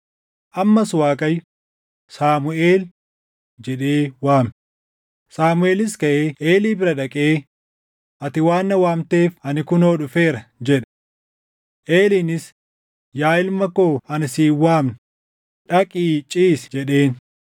Ammas Waaqayyo, “Saamuʼeel!” jedhee waame; Saamuʼeelis kaʼee Eelii bira dhaqee, “Ati waan na waamteef ani kunoo dhufeera” jedhe. Eeliinis, “Yaa ilma koo ani si hin waamne; dhaqii ciisi” jedheen.